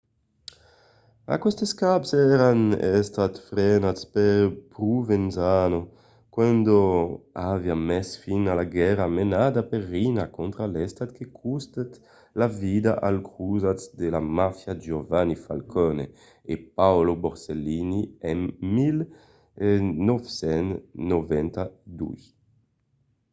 aquestes caps èran estats frenats per provenzano quand aviá mes fin a la guèrra menada per riina contra l'estat que costèt la vida als crosats de la màfia giovanni falcone e paolo borsellino en 1992.